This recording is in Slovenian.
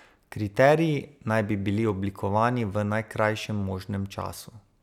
Kriteriji naj bi bili oblikovani v najkrajšem možnem času.